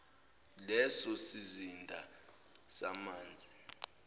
leso sizinda samanzi